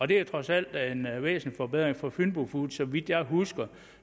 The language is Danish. det er trods alt en væsentlig forbedring for fynbo foods så vidt jeg husker